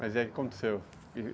Mas e aí o que aconteceu?